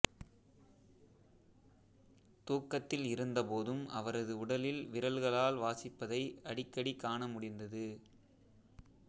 தூக்கத்தில் இருந்தபோதும் அவரது உடலில் விரல்களால் வாசிப்பதை அடிக்கடி காண முடிந்தது